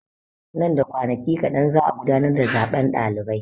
Nan da kwanaki kaɗan za'a gudanar da zaben ɗalibai.